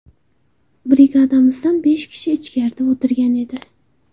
Brigadamizdan besh kishi ichkarida o‘tirgan edi.